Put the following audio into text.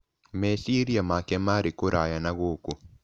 Meciria make maarĩ kũraya na gũkũ.